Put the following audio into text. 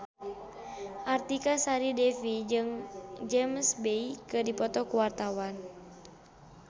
Artika Sari Devi jeung James Bay keur dipoto ku wartawan